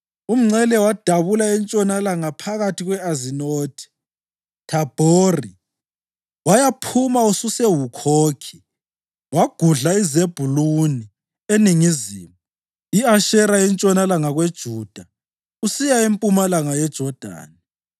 Umngcele wadabula entshonalanga phakathi kwe-Azinothi-Thabhori wayaphuma ususeHukhokhi. Wagudla iZebhuluni eningizimu, i-Asheri entshonalanga kweJuda usiya empumalanga yeJodani.